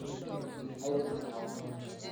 airorie oltau